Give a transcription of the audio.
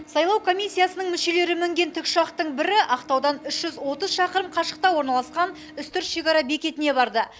сайлау комиссиясының мүшелері мінген тікұшақтың бірі ақтаудан үш жүз отыз шақырым қашықтықта орналасқан үстірт шекара бекетіне барды